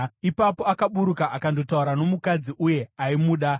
Ipapo akaburuka akandotaura nomukadzi, uye aimuda.